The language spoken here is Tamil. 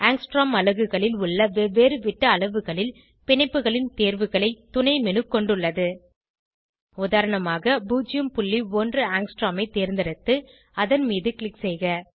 ஆங்ஸ்ட்ரோம் அலகுகளில் உள்ள வெவ்வேறு விட்ட அளவுகளில் பிணைப்புகளின் தேர்வுகளை துணை menu கொண்டுள்ளது உதாரணமாக 01 ஆங்ஸ்ட்ரோம் ஐ தேர்ந்தெடுத்து அதன் மீது க்ளிக் செய்க